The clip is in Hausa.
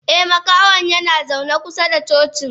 Eh Makahon yanazaune kusa da cocin.